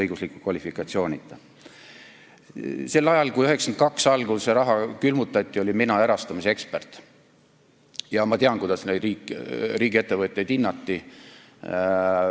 Sel ajal, kui 1992. aasta algul see raha külmutati, olin mina erastamise ekspert ja ma tean, kuidas neid riigiettevõtteid hinnati.